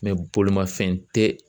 bolimafɛn tɛ